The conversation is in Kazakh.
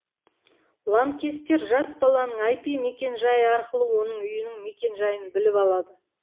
лаңкестер жас баланың ір мекенжайы арқылы оның үйінің мекенжайын біліп алады